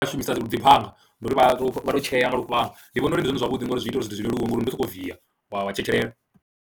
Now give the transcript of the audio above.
Vha shumisa dzi phanga, ndi uri vha tou tshea nga lufhanga, ndi vhona uri ndi zwone zwavhuḓi ngori zwi ita uri zwithu zwi leluwe ngori ndi u sokou viya wa tshetshelela.